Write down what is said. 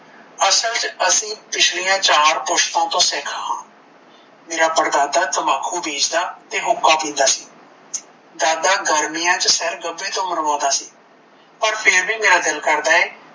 ਅਸਲ ਚ ਅਸੀਂ ਪਿਛਲੀਆਂ ਚਾਰ ਪੁਸ਼ਤਾਂ ਤੋਂ ਸਿੱਖ ਹਾਂ, ਮੇਰਾ ਪੜਦਾਦਾ ਤਮਾਖੂ ਬੀਜਦਾ ਤੇ ਹੁੱਕਾ ਪੀਦਾ ਸੀ, ਦਾਦਾ ਗਰਮੀਆ ਚ ਸਿਰ ਗੱਬੇ ਤੋਂ ਮੁੰਦਵਾਉਂਦਾ ਸੀ, ਪਰ ਫਿਰ ਵੀ ਮੇਰਾ ਦਿਲ ਕਰਦਾ ਏ